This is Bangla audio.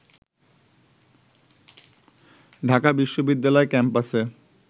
ঢাকা বিশ্ববিদ্যালয় ক্যাম্পাসে